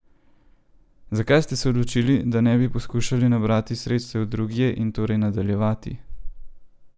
Zakaj ste se odločili, da ne bi poskušali nabrati sredstev drugje in torej nadaljevati?